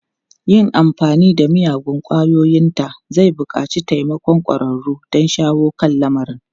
Yin amfani da miyagun ƙwayoyinta zai buƙaci taimakon ƙwararru don shawo kan lamarin.